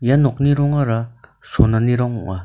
ia nokni rongara sonani rong ong·a.